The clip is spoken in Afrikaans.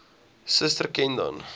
suster ken dan